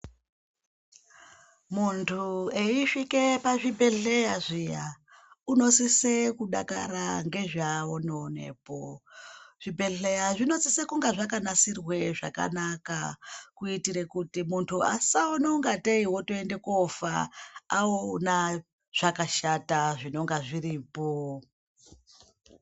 Muntu eyisvike pazvibhedhleya zviya, unosise kudakara ngezvaanoonepo. Zvibhedhleya zvinosise kunga zvakanasirwe zvakanaka kuitire kuti muntu asaona kungatei wotoende kofa aona zvakashata zvinonga zviripo.